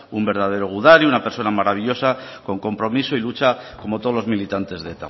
un verdadero gudari una persona maravillosa con compromiso y lucha como todos los militantes de